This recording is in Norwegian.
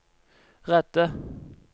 redde